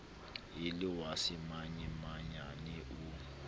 e le wa semanyamanyane o